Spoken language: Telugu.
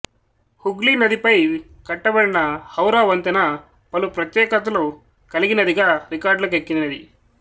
హుగ్లీనది పై కట్టబడిన హౌరా వంతెన పలు ప్రత్యేకతలు కలిగినదిగా రికార్డులకెక్కినది